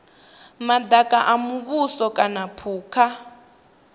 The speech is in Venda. madaka a muvhuso kana phukha